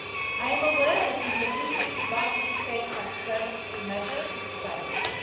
I am aware that introducing binding pay transparency measures is challenging.